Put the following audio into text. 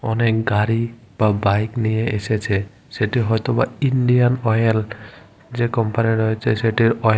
অনেক গাড়ি বা বাইক নিয়ে এসেছে সেটি হয়তো বা ইন্ডিয়ান অয়েল যে কম্পানি রয়েছে সেটির অয়েল --